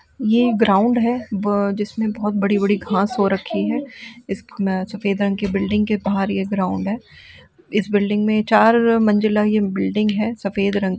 ये ग्राउंड है। ब जिसमे बहुत बड़ी बड़ी घास हो रखी है इस में सफ़ेद रंग की बिल्डिंग के बहार ये ग्राउंड है इस बिल्डिंग में चार मंज़िला ये बिल्डिंग है सफ़ेद रंग --